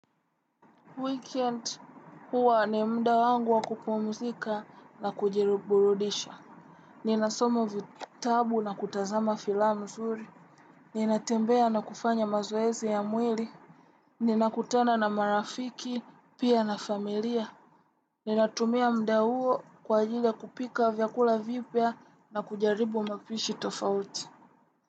Weekend huwa ni mda wangu wa kupumuzika na kujiruburudisha. Ninasomo vitabu na kutazama filamu zuri. Ninatembea na kufanya mazoezi ya mwili. Ninakutana na marafiki, pia na familia. Ninatumia mda huo kwa ajili ya kupika vyakula vipya na kujaribu mapishi tofauti.